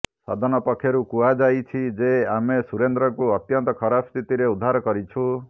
ସଦନ ପକ୍ଷରୁ କୁହାଯାଇଛି ଯେ ଆମେ ସୁରେନ୍ଦ୍ରଙ୍କୁ ଅତ୍ୟନ୍ତ ଖରାପ ସ୍ଥିତିରେ ଉଦ୍ଧାର କରିଛୁ